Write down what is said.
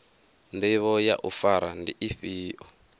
ndivho ya u fara ndi ifhio